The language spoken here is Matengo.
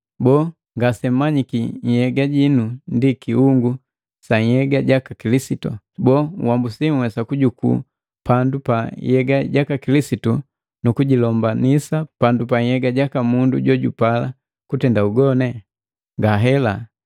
Boo, ngasemmanyiki nhyega jinu ndi kiungu sa nhyega jaka Kilisitu? Boo, nhambusi nhwesa kujuku pandu pa nhyega jaka Kilisitu nukujilombanisa pandu pa nhyega jaka mundu jojupala kutenda ugoni? Ngahela!